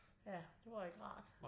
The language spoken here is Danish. Ja det var ikke rart